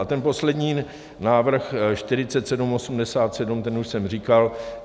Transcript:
A ten poslední návrh 4787 ten už jsem říkal.